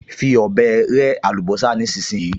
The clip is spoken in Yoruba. Fi ọ̀bẹ rẹ́ àlùbọ́sà nísinsìnyí!